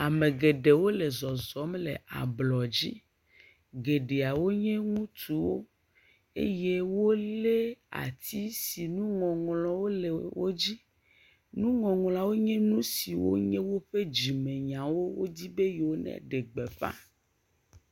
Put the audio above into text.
Ame geɖewo le zɔzɔm le ablɔ dzi. Geɖeawo nye ŋutsuwo eye wo le atsi si nuŋɔŋlɔwo le wo dzi. Nuɔŋlɔawo nye nu siwo nye woƒe dzimenyawo wo wodzi be yewo ne ɖe gbeƒa.